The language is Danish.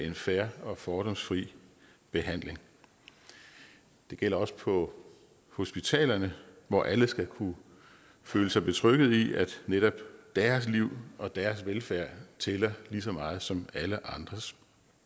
en fair og fordomsfri behandling det gælder også på hospitalerne hvor alle skal kunne føle sig trygge ved at netop deres liv og deres velfærd tæller lige så meget som alle andres